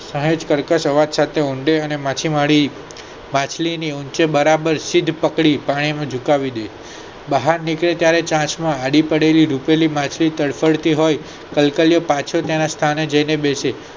સહેજ કર્કર આવાજ સાથે ઊંડો અને માછીમારી માછલી ની આંખે બરાબર સીધા પકડી કાયમી ઝુકાવી દે બહાર નીકળો ત્યારે ચાંચ માં આડી પડેતી માછલી તડપડતી હોય કલકલિયો પાછો તેના સ્થાને બેસે